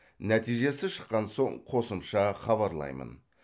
нәтижесі шыққан соң қосымша хабарлаймын